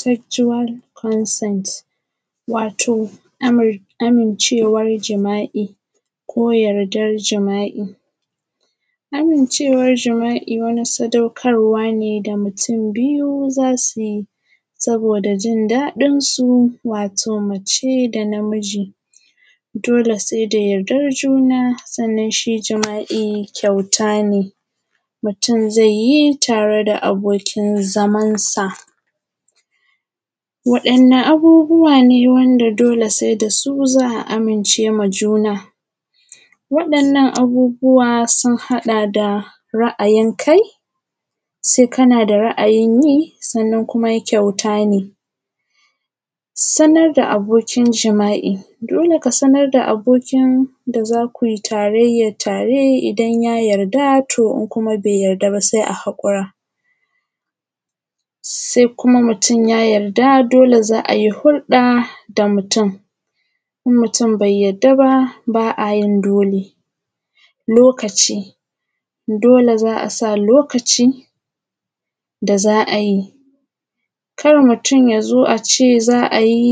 Sexual consent, wato amir amincewar jima`i ko yardarm jima`i, amincewar jima`i wani sadaukarwa ne da mutum biyu zasu yi saboda jin daɗin su wato mace da namiji dole sai da yardan juna sannan shi jima`i kyauta ne mutum zai yi tare da abokin zaman sa, waɗanna abubuwa ne wanda dole sai da su za a amince ma juna? waɗannan abubuwa sun haɗa da ra`ayin kai, sai kana da ra`ayin yi sannan kuma kyauta ne, sanar da abokin jima`i, dole ka sanar da abokin da zaku yi tarayyan tare idan ya yarda to in kuma bai yarda ba sai a haƙura, sai kuma mutum ya yarda dole za ayi hurɗa da mutum in mutum bai yarda ba ba a yi dole, lokaci dole za a sa lokaci da za a yi, kar mutum za zo a ce za a yi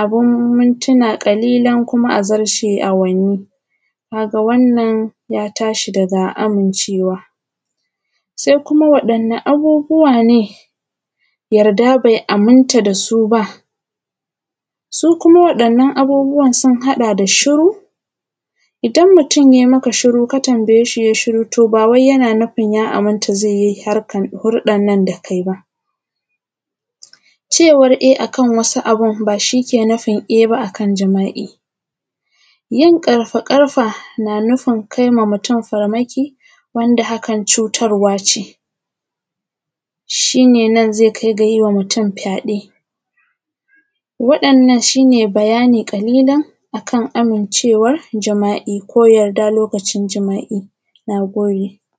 abin mintina ƙalilan kuma a zarce awanni kaga wannan ya tashi daga amincewa, sai kuma waɗanne abubuwa ne yarda bai aminta da su ba, su kuma waɗannan abubuwan sun haɗa da shuru idan mutum yai maka shuru ka tambaye shi yai shuru to ba wai yana nufin ya aminta zai yi harkan zai yi hurɗan nan da kai ba cewan e akan wasu abin ba shi ke e ba akan jima`i, yin ƙarfa ƙarfa na nufin kai ma mutum farmaki wanda hakan cutarwa ce shi ne nan zai kai ga yima mutum fyade, waɗannan shi ne bayani ƙalilan akan amincewar jma`i ko yarda lokacin jima`i, na gode.